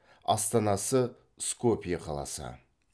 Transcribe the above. астанасы скопье қаласы